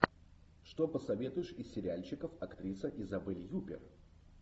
что посоветуешь из сериальчиков актриса изабель юппер